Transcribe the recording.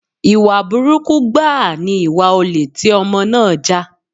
Ìwà burúkú gbáà ni ìwà olè tí Ọmọ náà jà.